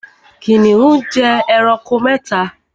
Kìnìún jẹ ẹranko mẹ́ta